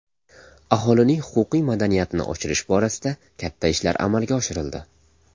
Aholining huquqiy madaniyatini oshirish borasida katta ishlar amalga oshirildi.